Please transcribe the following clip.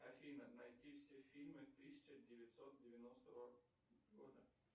афина найди все фильмы тысяча девятьсот девяностого года